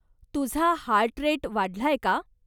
तुझा heart rate वाढलाय का?